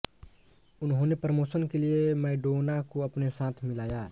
उन्होंने प्रोमोशन के लिए मैडोना को अपने साथ मिलाया